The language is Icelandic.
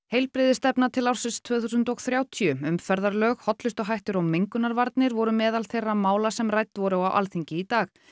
heilbrigðisstefna til ársins tvö þúsund og þrjátíu umferðarlög hollustuhættir og mengunarvarnir voru meðal þeirra mála sem rædd voru á Alþingi í dag